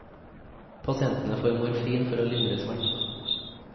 Pasientene får morfin for å lindre smertene.